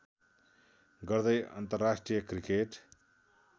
गर्दै अन्तर्राष्ट्रिय क्रिकेट